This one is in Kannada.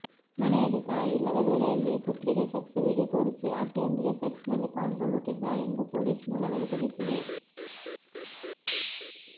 ಮನೆಯಲ್ಲಿ ತಾಯಿಯಿಲ್ಲದ ವೇಳೆಯಲ್ಲಿ ಪುತ್ರಿಗೆ ಸೆಕ್ಸ್ ವಿಡಿಯೋ ತೋರಿಸಿ ಆಕೆಯೊಂದಿಗೆ ಸೆಕ್ಸ್ನಲ್ಲಿ ಪಾಲ್ಗೊಳ್ಳುತ್ತಿದ್ದ ಎಂದು ಪೊಲೀಸ್ ಮೂಲಗಳು ತಿಳಿಸಿವೆ